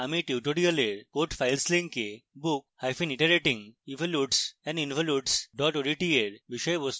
আমি you tutorial code files লিঙ্কে bookiteratingevolutesandinvolutes odt এর বিষয়বস্তু পাবো